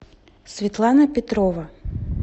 светлана петрова